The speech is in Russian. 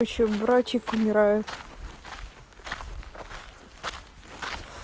ещё братик умирает